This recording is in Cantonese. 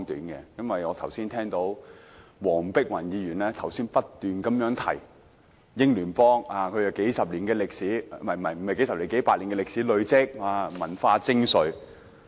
我剛才聽到黃碧雲議員不斷提到英聯邦有數十年......不，是數百年歷史，累積文化精粹。